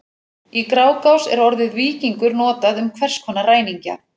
Í Grágás er orðið víkingur notað um hvers konar ræningja.